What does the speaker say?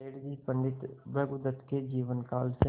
सेठ जी पंडित भृगुदत्त के जीवन काल से